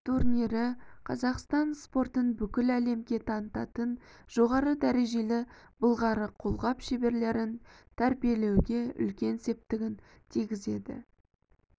турнирі қазақстан спортын бүкіл әлемге танытатын жоғары дәрежелі былғары қолғап шеберлерін тәрбиелеуге үлкен септігін тигізеді